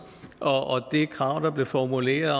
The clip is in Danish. og det krav der blev formuleret